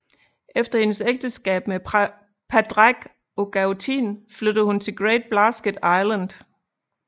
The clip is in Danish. Efter hendes ægteskab med Pádraig Ó Gaoithín flyttede hun til Great Blasket Island